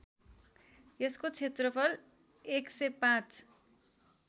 यसको क्षेत्रफल १०५